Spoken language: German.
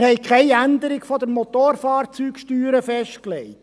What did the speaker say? Wir haben keine Änderung der Motorfahrzeugsteuer festgelegt.